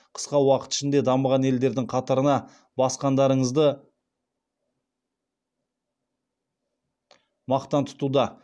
қысқа уақыт ішінде дамыған елдердің қатарына басқандарыңызды мақтан тұтуда